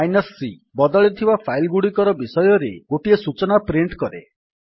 c160 ବଦଳିଥିବା file ଗୁଡିକ ବିଷୟରେ ଥିବା ସୂଚନା ପ୍ରିଣ୍ଟ୍ କରେ